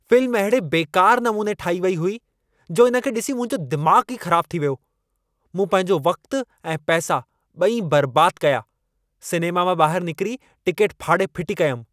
Film अहिड़े बेकार नमूने ठाही वई हुई, जो इन खे ॾिसी मुंहिंजो दिमाग़ ई ख़राब थी वियो। मूं पंहिंजो वक़्तु ऐं पैसा ॿई बर्बाद कया। सिनेमा मां ॿाहिर निकिरी टिकेट फाड़े फिटी कयमि।